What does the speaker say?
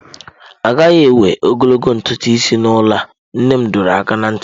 A gaghị ewe ogologo ntutu isi n'ụlọ a! Nne m dọrọ aka ná ntị.